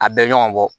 A bɛ ɲɔgɔn bɔ